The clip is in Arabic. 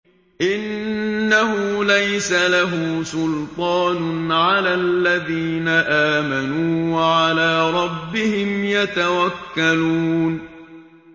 إِنَّهُ لَيْسَ لَهُ سُلْطَانٌ عَلَى الَّذِينَ آمَنُوا وَعَلَىٰ رَبِّهِمْ يَتَوَكَّلُونَ